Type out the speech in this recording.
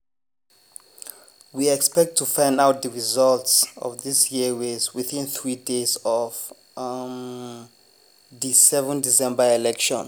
we expect to find out di results of dis year race within three days of um di 7 december election.